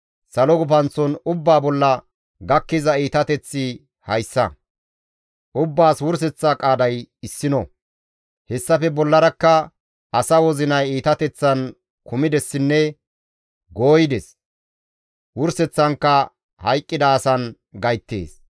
Salo gufanththon ubbaa bolla gakkiza iitateththi hayssa; ubbaas wurseththa qaaday issino; hessafe bollarakka asa wozinay iitateththan kumidessinne gooyides; wurseththankka hayqqida asan gayttees.